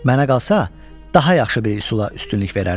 Mənə qalsa daha yaxşı bir üsula üstünlük verərdim.